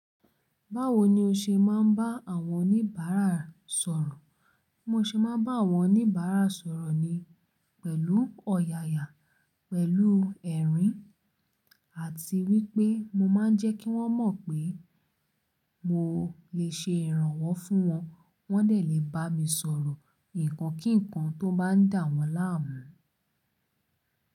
Báwo ni o ṣe máa ń bá àwọn oníbàárà sọ̀rọ̀? Mo ṣe máa ń bá àwọn oníbàárà sọ̀rọ̀ ni pẹ̀lú ọ̀yàyà, pẹ̀lú ẹ̀rín, àti wípé mo máa ń jẹ́ kí wọ́n mọ̀ pé mo lè ṣe ìrànwọ́ fún wọn. Wọ́n lè bá mi sọ̀rọ̀ ǹkan kí ǹkan tó bá ń dà wọ́n láàmú.